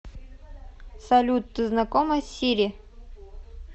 салют ты знакома с сири